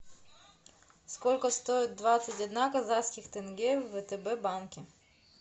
сколько стоит двадцать одна казахских тенге в втб банке